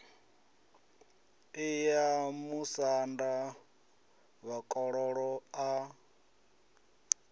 i ya musanda vhakololo a